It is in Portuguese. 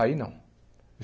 Aí não.